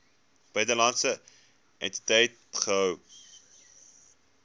buitelandse entiteit gehou